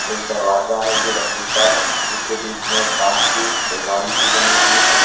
एक दरवाजा है जो लकड़ी का है इसके बीच में कांच की अलमारी सी बनी हुई है।